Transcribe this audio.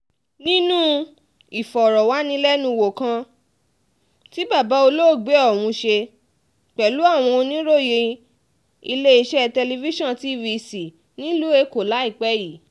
nínú ìfọ̀rọ̀wánilẹ́nuwò kan tí bàbá olóògbé ọ̀hún ṣe pẹ̀lú àwọn oníròyìn iléeṣẹ́ tẹlifíṣàn tvc nílùú èkó láìpẹ́ yìí